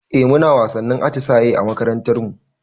Eh muna wasannin atisaye a makarantar mu